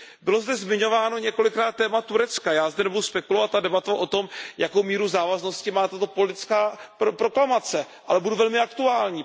Bylo zde zmiňováno několikrát téma Turecka, já zde nebudu spekulovat a debatovat o tom, jakou míru závaznosti má tato politická proklamace, ale budu velmi aktuální.